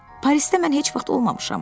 Parisdə mən heç vaxt olmamışam.